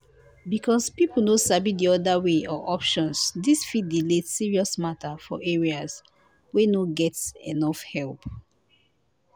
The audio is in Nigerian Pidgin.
because people no sabi the other way or options this fit delay serious matter for areas wey no get enough help.